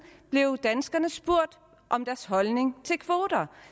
blev danskerne spurgt om deres holdning til kvoter